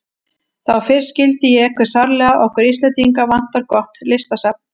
Þá fyrst skildi ég hve sárlega okkur Íslendinga vantar gott listasafn.